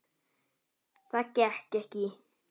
Það gekk ekki